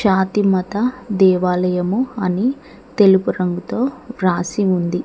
ఫాతి మాత దేవాలయము అని తెలుపు రంగుతో రాసి ఉంది.